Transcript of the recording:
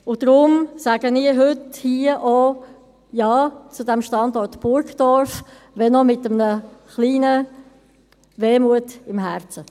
Und darum sage ich heute hier auch Ja zu diesem Standort Burgdorf, wenn auch mit einer kleinen Wehmut im Herzen.